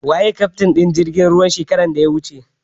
Waye kaftin jirgin ruwan shekaran da ya wuce?